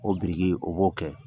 O biriki, o b'o kɛ